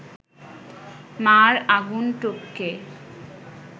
মা’র আগুন টপকে